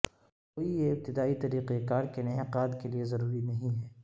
کوئی یہ ابتدائی طریقہ کار کے انعقاد کے لئے ضروری نہیں ہے